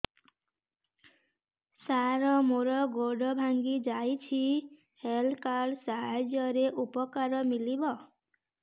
ସାର ମୋର ଗୋଡ଼ ଭାଙ୍ଗି ଯାଇଛି ହେଲ୍ଥ କାର୍ଡ ସାହାଯ୍ୟରେ ଉପକାର ମିଳିବ